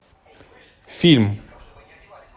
фильм